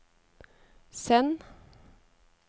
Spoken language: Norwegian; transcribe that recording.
send